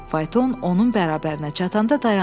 Fayton onun bərabərinə çatanda dayandı.